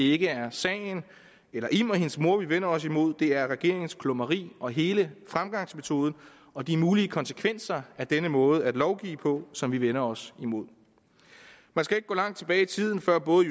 ikke er sagen eller im og hendes mor vi vender os imod det er regeringens klumreri og hele fremgangsmåden og de mulige konsekvenser af denne måde at lovgive på som vi vender os imod man skal ikke gå langt tilbage i tiden før både